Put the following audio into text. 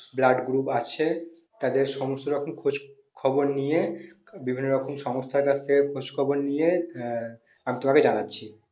blood group আছে তাদের সমস্তরকম খোঁজ খবর নিয়ে বিভিন্ন রকম সংস্তানে কাছে খোঁজ খবর নিয়ে আমি তোমাকে জানাচ্ছি